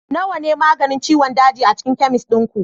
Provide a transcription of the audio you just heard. nawa ne maganin ciwon daji a cikin chemist ɗin ku